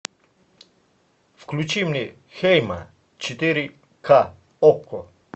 включи мне хейма четыре ка окко